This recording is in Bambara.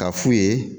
Ka f'u ye